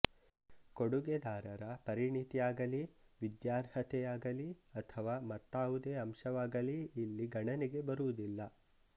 ಕೊಡುಗೆದಾರರ ಪರಿಣತಿಯಾಗಲೀ ವಿದ್ಯಾರ್ಹತೆಯಾಗಲೀ ಅಥವಾ ಮತ್ತಾವುದೇ ಅಂಶವಾಗಲೀ ಇಲ್ಲಿ ಗಣನೆಗೆ ಬರುವುದಿಲ್ಲ